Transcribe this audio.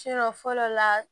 fɔlɔ la